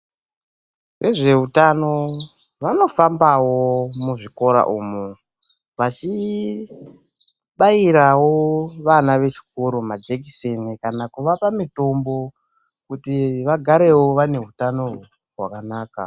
Vezveutano vanofambawo muzvikora umu vachibairawo vana vechikoro majekiseni kana kuvapa mutombo kuti vagarewo vane utano hwakanaka.